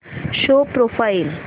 show profile